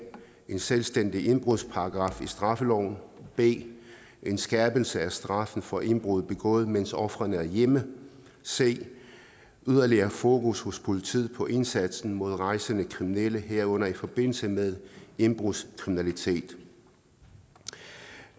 en selvstændig indbrudsparagraf i straffeloven b en skærpelse af straffen for indbrud begået mens ofrene er hjemme c yderligere fokus hos politiet på indsatsen mod rejsende kriminelle herunder i forbindelse med indbrudskriminalitet